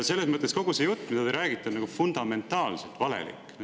Selles mõttes kogu see jutt, mida te räägite, on fundamentaalselt valelik.